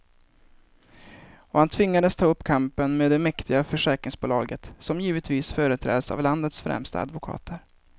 Och han tvingas ta upp kampen med det mäktiga försäkringsbolaget, som givetvis företräds av landets främsta advokater.